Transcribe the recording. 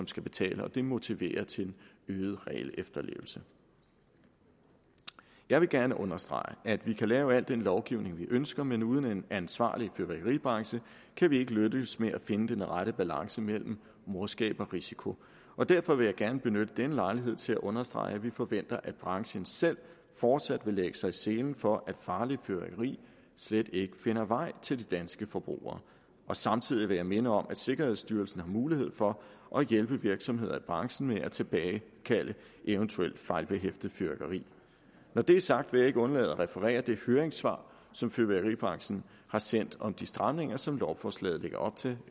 skal betale og det motiverer til øget regelefterlevelse jeg vil gerne understrege at vi kan lave al den lovgivning vi ønsker men uden en ansvarlig fyrværkeribranche kan vi ikke lykkes med at finde den rette balance mellem morskab og risiko og derfor vil jeg gerne benytte denne lejlighed til at understrege at vi forventer at branchen selv fortsat vil lægge sig i selen for at farligt fyrværkeri slet ikke finder vej til de danske forbrugere samtidig vil jeg minde om at sikkerhedsstyrelsen har mulighed for at hjælpe virksomheder i branchen med at tilbagekalde eventuel fejlbehæftet fyrværkeri når det er sagt vil jeg ikke undlade at referere det høringssvar som fyrværkeribranchen har sendt om de stramninger som lovforslaget lægger op til